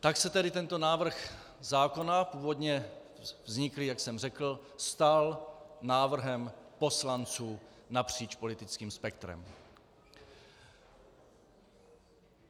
Tak se tedy tento návrh zákona, původně vzniklý, jak jsem řekl, stal návrhem poslanců napříč politickým spektrem.